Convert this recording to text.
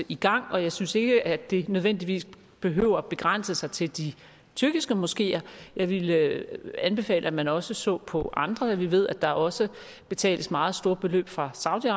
i gang og jeg synes ikke det nødvendigvis behøver begrænse sig til de tyrkiske moskeer jeg ville anbefale at man også så på andre vi ved at der også betales meget store beløb fra saudi